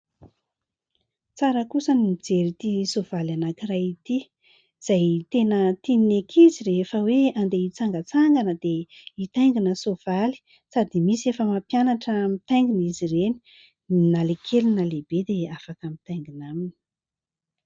Tsara kosa ny mijery ity soavaly anankiray ity, izay tena tian'ny ankizy rehefa hoe handeha hitsangatsangana dia hitaingina soavaly sady misy efa mampianatra mitaingina izy ireny. Na ilay kely na lehibe dia afaka mitaingina aminy.